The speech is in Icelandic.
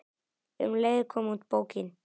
Um leið kom út bókin